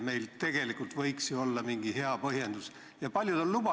Meil tegelikult võiks ju olla mingi hea põhjendus, miks neid reegleid peaks muutma.